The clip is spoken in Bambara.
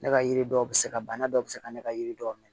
Ne ka yiri dɔw bɛ se ka bana dɔw bɛ se ka ne ka yiri dɔw minɛ